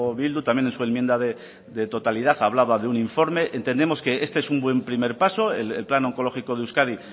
bildu también en su enmienda de totalidad hablaba de un informe entendemos que este es un buen primer paso el plan oncológico de euskadi